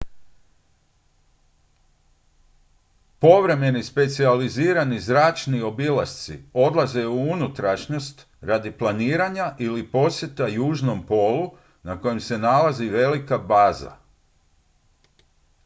povremeni specijalizirani zračni obilasci odlaze u unutrašnjost radi planinarenja ili posjeta južnom polu na kojem se nalazi velika baza